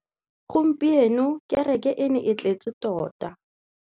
Gompieno kêrêkê e ne e tletse tota.